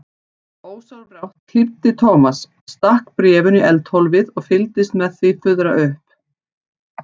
Ósjálfrátt hlýddi Thomas, stakk bréfinu í eldhólfið og fylgdist með því fuðra upp.